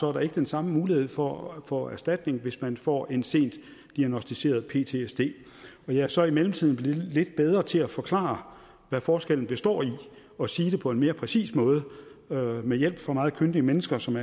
er der ikke den samme mulighed for at få erstatning hvis man får en sent diagnosticeret ptsd men jeg er så i mellemtiden blevet lidt bedre til at forklare hvori forskellen består og sige det på en mere præcis måde med hjælp fra meget kyndige mennesker som